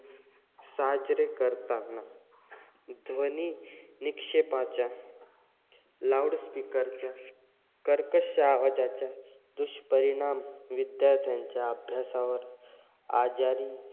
साजरे करतांना ध्वनी निक्षेपाच्या loud speaker च्या, कर्कश्श आवाजाच्या दुष्परिणाम विद्यार्थ्यांच्या अभ्यासावर, आजारी,